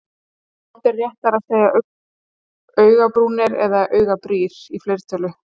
Hvort er réttara að segja augabrúnir eða augabrýr í fleirtölu?